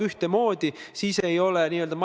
Austatud Riigikogu esimees!